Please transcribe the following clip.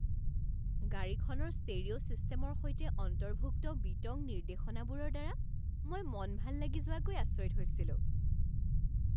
গাড়ীখনৰ ষ্টেৰিঅ' ছিষ্টেমৰ সৈতে অন্তৰ্ভুক্ত বিতং নিৰ্দেশনাবোৰৰ দ্বাৰা মই মন ভাল লাগি যোৱাগৈ আচৰিত হৈছিলোঁ।